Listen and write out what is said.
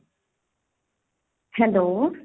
hello